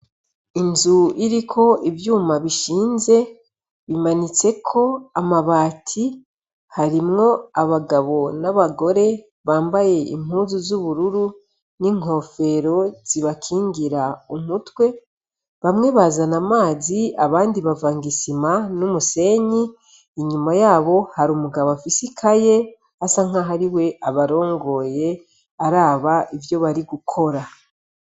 Inzu iriko ivyuma bishinze bimanitseko amabati, harimwo abagabo n’abagore bambaye impuzu z’ubururu n’inkofero zibakingira umutwe. Bamwe bazana amazi, abandi bavanga isima n’umusenyi. Inyuma yabo hari umugabo afise ikaye, asa nk’aho ari we abarongoye araba ivyo bari gukora.